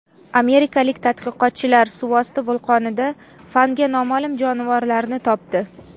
Amerikalik tadqiqotchilar suvosti vulqonida fanga noma’lum jonivorlarni topdi.